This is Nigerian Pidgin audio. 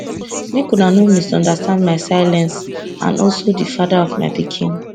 make una no misunderstand my silence and also di father of my pikin